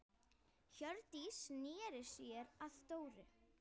Hjördís sneri sér að Dóru.